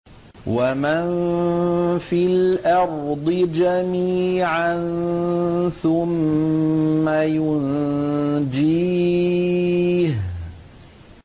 وَمَن فِي الْأَرْضِ جَمِيعًا ثُمَّ يُنجِيهِ